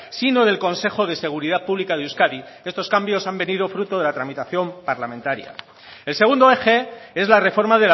sino del consejo de seguridad pública de euskadi estos cambios han venido fruto de la tramitación parlamentaria el segundo eje es la reforma